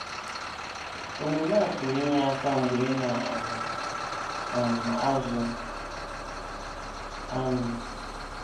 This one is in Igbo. Omume a pụrụ inye aka mgbe ị na um - um azụ anụ.